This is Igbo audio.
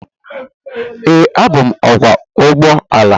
Ee, abụ m ọkwọ ụgbọ ala.